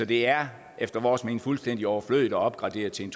det er efter vores mening fuldstændig overflødigt at opgraduere til en